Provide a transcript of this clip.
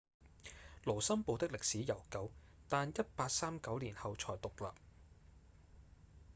盧森堡的歷史悠久但1839年後才獨立